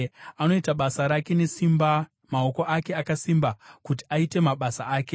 Anoita basa rake nesimba; maoko ake akasimba kuti aite mabasa ake.